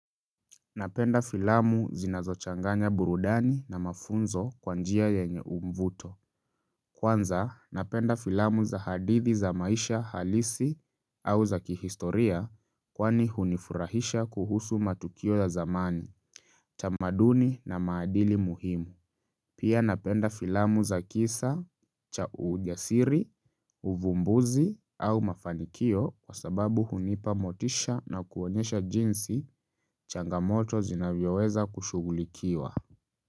Napenda filamu zinazochanganya burudani na mafunzo kwa njia yenye umvuto Kwanza napenda filamu za hadithi za maisha halisi au za kihistoria kwani hunifurahisha kuhusu matukio ya zamani, tamaduni na maadili muhimu Pia napenda filamu za kisa cha ujasiri, uvumbuzi au mafanikio kwa sababu hunipa motisha na kuonyesha jinsi changamoto zinavyoweza kushugulikiwa.